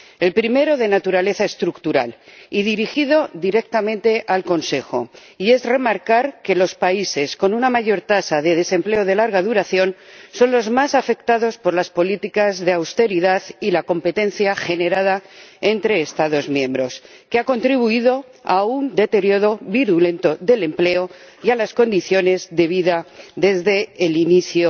El primero, de naturaleza estructural y dirigido directamente al Consejo, es remarcar que los países con una mayor tasa de desempleo de larga duración son los más afectados por las políticas de austeridad y la competencia generada entre Estados miembros, que ha contribuido a un deterioro virulento del empleo y de las condiciones de vida desde el inicio